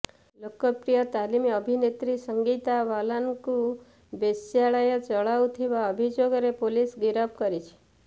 ଲୋକପ୍ରିୟ ତାମିଲ୍ ଅଭିନେତ୍ରୀ ସଂଗୀତା ବାଲାନଙ୍କୁ ବେଶ୍ୟାଳୟ ଚଳାଉଥିବା ଅଭିଯୋଗରେ ପୁଲିସ୍ ଗିରଫ କରିଛି